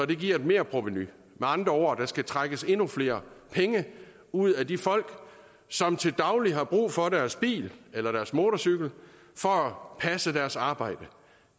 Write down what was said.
det giver et merprovenu med andre ord der skal trækkes endnu flere penge ud af de folk som til daglig har brug for deres bil eller deres motorcykel for at passe deres arbejde